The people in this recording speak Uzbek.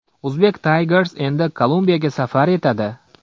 Uzbek Tigers endi Kolumbiyaga safar etadi.